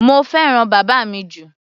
Mo fẹ́ràn bàbá mi jù.